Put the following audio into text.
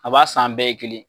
A b'a san an bɛɛ ye kelen.